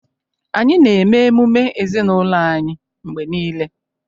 Anyị na-eme emume ezinụlọ anyị mgbe niile